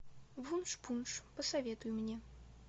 вуншпунш посоветуй мне